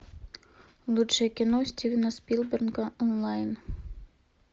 лучшие кино стивена спилберга онлайн